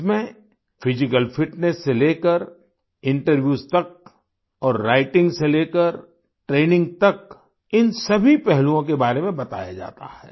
इसमें physical fitness से लेकर इंटरव्यूज तक और राइटिंग से लेकर ट्रेनिंग तक इन सभी पहलुओं के बारे में बताया जाता है